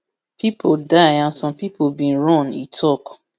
pipo die and some pipo bin run e tok